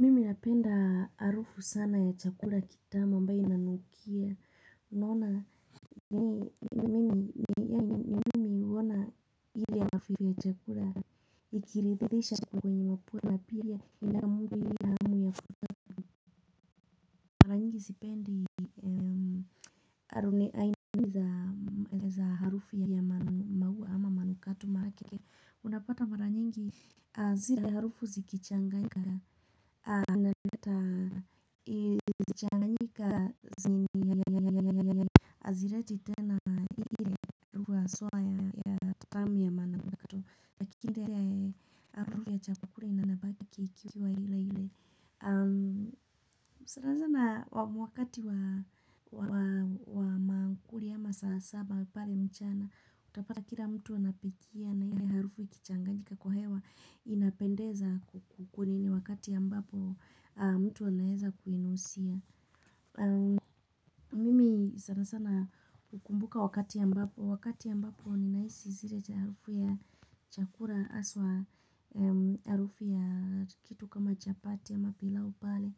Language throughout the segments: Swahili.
Mimi napenda harufu sana ya chakula kitamu ambaye inanukia unona ni mimi huona ile ya mafiri ya chakura. Ikiridhisha kwenye mapua napia ilnamuli ile ya hamu ya futu. Maranyingi zipendi aruneaini za harufu ya mahua ama manukato maake. Unapata mara nyingi a zile harufu zikichanganyika. Azireti tena ile haswa ya tatami ya manukato. Lakini ndia ya harufu ya cha kula inanabaki kikiwa ile ile. Sarazana wakati wa maakuli ama saasaba pale mchana. Utapata kila mtu anapikia na ile harufu ikichangayika kwa hewa. Inapendeza kukunini wakati ambapo mtu anaeza kuinusia. Mimi sansana ukumbuka wakati ambapo wakati ya mbapo ninahisi zile cha harufu ya chakura aswa. Harufu ya kitu kama japati ama pilau pale.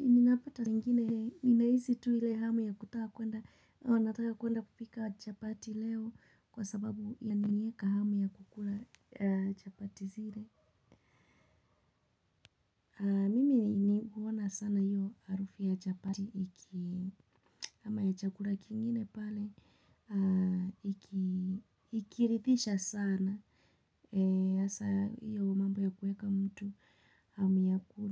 Ninapata ingine, ninahisi tuile hamu ya kutaka kuenda. Onataka kuenda kupika chapati leo. Kwa sababu yaninieka hamu ya kukula chapati zile. Mimi huwana sana hiyo arufu ya chapati. Ama ya chakula kingine pale. Ikirithisha sana. Asa hiyo mambo ya kueka mtu. Hamu ya kula.